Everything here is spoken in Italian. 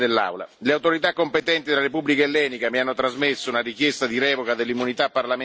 Le autorità competenti della Repubblica ellenica mi hanno trasmesso una richiesta di revoca dell'immunità parlamentare dell'on.